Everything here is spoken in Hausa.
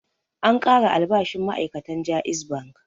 An ƙara albashin ma'ai'katan JAIZ Bank.